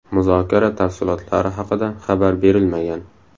Muzokara tafsilotlari haqida xabar berilmagan.